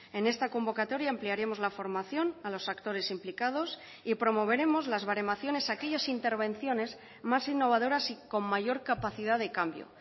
en esta convocatoria ampliaremos la formación a los actores implicados y promoveremos las baremaciones a aquellas intervenciones más innovadoras y con mayor capacidad de cambio